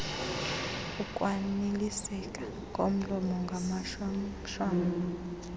ukwaniliseka komlomo ngamashwamshwam